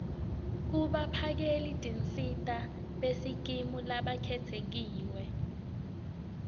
kubaphakelitinsita besikimu labakhetsiwe